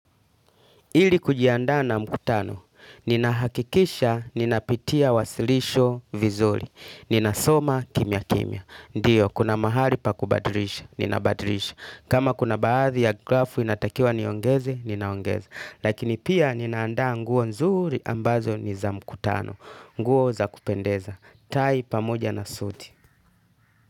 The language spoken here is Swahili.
Ili kujiandaa na mkutano, ninahakikisha ninapitia wasilisho vizuri, ninasoma kimya kimya. Ndio, kuna mahali pa kubadrisha, ninabadrisha. Kama kuna baadhi ya grafu inatakiwa niongeze, ninaongeza. Lakini pia ninaandaa nguo nzuri ambazo ni za mkutano, nguo za kupendeza. Tai pamoja na suti.